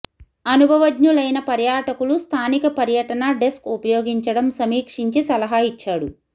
అనుభవజ్ఞులైన పర్యాటకులు స్థానిక పర్యటన డెస్క్ ఉపయోగించడం సమీక్షించి సలహా ఇచ్చాడు